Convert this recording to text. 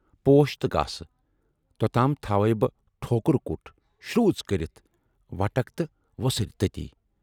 پوش تہٕ گاسہٕ۔ توتام تھاوٕے بہٕ ٹھوکُر کُٹھ شروٗژ کٔرِتھ وُٹُکھ تہٕ وُسرۍ تتِی۔